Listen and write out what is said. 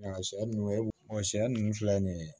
Sɛ ninnu sɛ ninnu filɛ nin ye